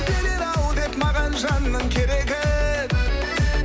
берер ау деп маған жанның керегін